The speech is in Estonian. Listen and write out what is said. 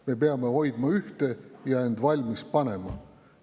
Me peame hoidma ühte ja end valmis panema.